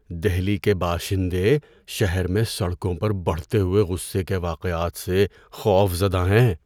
دہلی کے باشندے شہر میں سڑکوں پر بڑھتے ہوئے غصے کے واقعات سے خوف زدہ ہیں۔